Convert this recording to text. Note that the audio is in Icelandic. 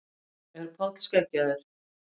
Er Páll skeggjaður?